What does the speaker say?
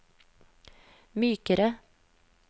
mykere